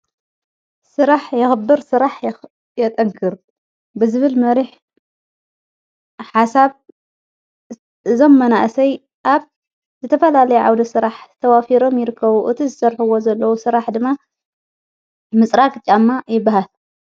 ሥራሕ የኽብር ሥራሕ የጠግር ብዝብል መሪሕ ሓሳብ ዞ መናእሰይ ኣብ ዘተፈላለይ ዓውዶ ሥራሕ ዝተዋፊሮም ይርከዉ እቲ ዝሠርሕዎ ዘለዉ ሥራሕ ድማ ምጽራቅ ጫማ ይበሃል።